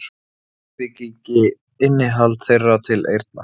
Grindvíkingi innihald þeirra til eyrna.